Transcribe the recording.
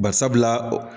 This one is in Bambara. Barisabula